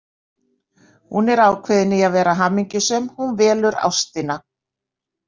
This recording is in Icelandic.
Hún er ákveðin í að vera hamingjusöm, hún velur ástina.